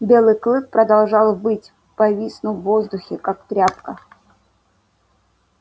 белый клык продолжал выть повиснув в воздухе как тряпка